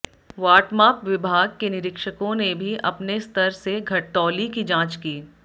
वाटमाप विभाग के निरीक्षकों ने भी अपने स्तर से घटतौली की जांच की